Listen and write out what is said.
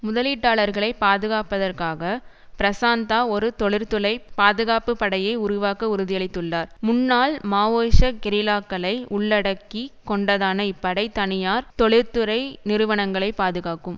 முதலீட்டாளர்களைப் பாதுகாப்பதற்காக பிரசாந்தா ஒரு தொழிற்துலை பாதுகாப்பு படையை உருவாக்க உறுதியளித்துள்ளார் முன்னாள் மாவோயிச கெரில்லாக்களை உள்ளடக்கி கொண்டதான இப்படை தனியார் தொழிற்துறை நிறுவனங்களை பாதுகாக்கும்